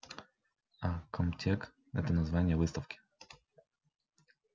а комтек это название выставки